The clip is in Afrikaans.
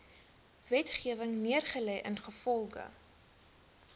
wetgewing neergelê ingevolge